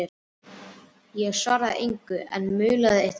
Ég svaraði engu, en umlaði eitthvað.